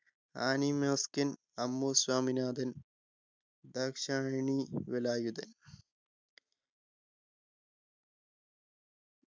Annie Mascarene Ammu Swaminathan Dakshayani Velayudhan